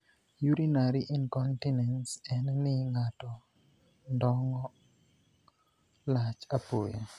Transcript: Urinary incontinence' en ni ng'ato ndongo' (puso) lach apoya.